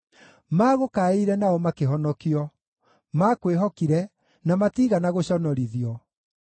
Maagũkaĩire nao makĩhonokio; maakwĩhokire na matiigana gũconorithio.